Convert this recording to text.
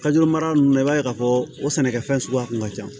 mara nunnu na i b'a ye k'a fɔ o sɛnɛkɛfɛn suguya kun ka ca